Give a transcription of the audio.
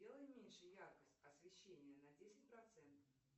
сделай меньше яркость освещения на десять процентов